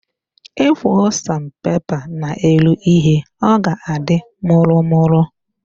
Ekwoo san pepa n'elu ihe, ọ ga-adị mụrụmụrụ